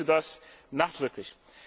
Ich begrüße das nachdrücklich.